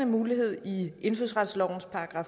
mulighed